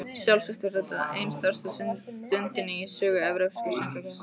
Sjálfsagt var þetta ein stærsta stundin í sögu Evrópsku söngvakeppninnar.